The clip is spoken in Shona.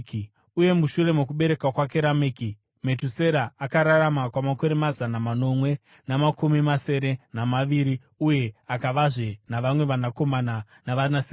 Uye mushure mokubereka kwake Rameki, Metusera akararama kwamakore mazana manomwe namakumi masere namaviri uye akavazve navamwe vanakomana navanasikana.